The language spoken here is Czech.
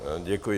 Děkuji.